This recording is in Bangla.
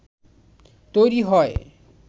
তৈরী হয়